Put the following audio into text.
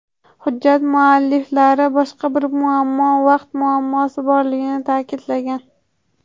Hujjat mualliflari boshqa bir muammo vaqt muammosi borligini ta’kidlagan.